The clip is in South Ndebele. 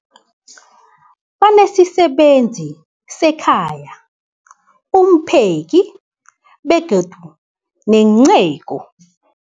Banesisebenzi sekhaya, umpheki, begodu nenceku.